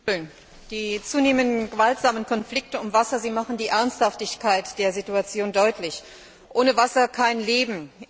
Herr Präsident! Die zunehmenden gewaltsamen Konflikte um Wasser machen die Ernsthaftigkeit der Situation deutlich. Ohne Wasser kein Leben.